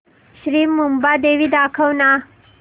श्री मुंबादेवी दाखव ना